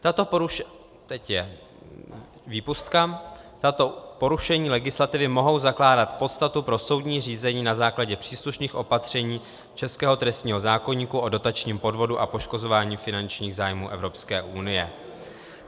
Tato porušení legislativy mohou zakládat podstatu pro soudní řízení na základě příslušných opatření českého trestního zákoníku o dotačním podvodu a poškozování finančních zájmů Evropské unie.